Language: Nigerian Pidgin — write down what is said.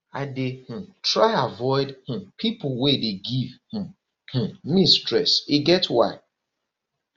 i dey um try avoid um pipo wey dey give um um me stress e get why